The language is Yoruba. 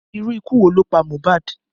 Irú ikú wo ló pa MOHBAD?